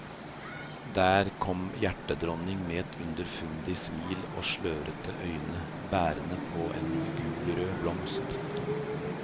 Der kom hjerterdronning med et underfundig smil og slørete øyne, bærende på en gulrød blomst.